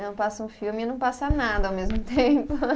Passa um filme e não passa nada ao mesmo tempo.